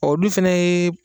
Ɔ dun fana ye